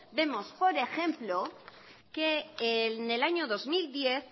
vemos por ejemplo que en el año dos mil diez